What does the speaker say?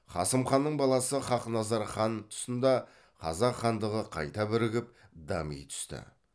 қасым ханның баласы хақназар хан тұсында қазақ хандығы қайта бірігіп дами түсті